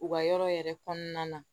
U ka yɔrɔ yɛrɛ kɔnɔna na